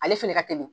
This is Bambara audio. Ale fɛnɛ ka teli